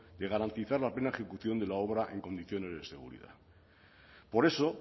de garantizar la plena ejecución de la obra en condiciones de seguridad por eso